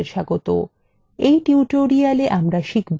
in tutorial আমরা শিখব কিভাবে